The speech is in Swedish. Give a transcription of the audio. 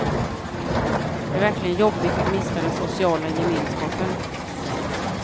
Det är verkligen jobbigt att mista den sociala gemenskapen.